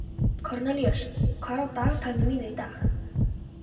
Kornelíus, hvað er á dagatalinu mínu í dag?